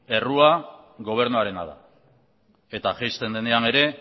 errua gobernuarena da eta jaisten denean ere